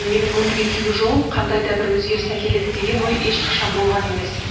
менің өмірге келу жолым қандай да бір өзгеріс әкеледі деген ой ешқашан болған емес